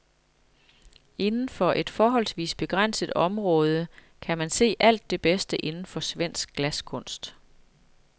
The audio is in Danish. Indenfor et forholdsvis begrænset område kan man se alt det bedste inden for svensk glaskunst.